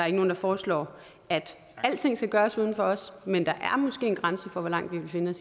ikke nogen der foreslår at alting skal gøres uden os men der er måske en grænse for hvor langt vi vil finde